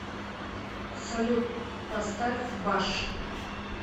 салют поставь баш